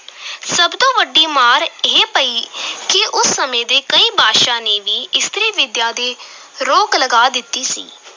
ਸਭ ਤੋਂ ਵੱਡੀ ਮਾਰ ਇਹ ਪਈ ਕਿ ਉਸ ਸਮੇਂ ਦੇ ਕਈ ਬਾਦਸ਼ਾਹ ਨੇ ਵੀ ਇਸਤਰੀ ਵਿੱਦਿਆ ਤੇ ਰੋਕ ਲਗਾ ਦਿੱਤੀ ਸੀ।